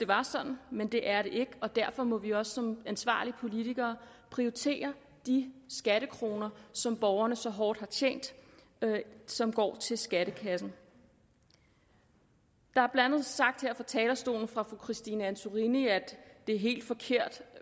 var sådan men det er det ikke og derfor må vi også som ansvarlige politikere prioritere de skattekroner som borgerne så hårdt har tjent og som går til skattekassen det er blandt sagt her fra talerstolen af fru christine antorini at det er helt forkert